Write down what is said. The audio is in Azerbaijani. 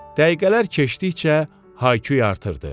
Dəqiqələr keçdikcə hayqırtı artırdı.